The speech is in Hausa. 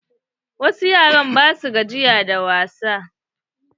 Wasu yara ba sua gajiya da wasa.